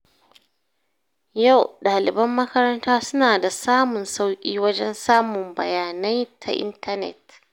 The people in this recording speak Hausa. Yau, ɗaliban makaranta suna da samun sauƙi wajen samun bayanai ta intanet.